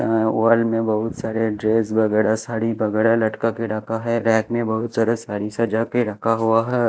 अह वाल में बहुत सारे ड्रेस वगैरह साड़ी वगैरह लटका के रखा है रैक में बहुत सारा साड़ी सजा के रखा हुआ हैं।